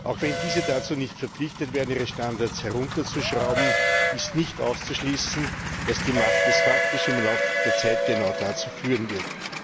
Auch wenn diese dazu nicht verpflichtet werden, ihre Standards herunterzuschrauben, ist nicht auszuschließen, dass die Macht des Faktischen im Laufe der Zeit genau dazu führen wird.